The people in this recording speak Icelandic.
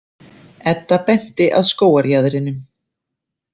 Edda benti að skógarjaðrinum.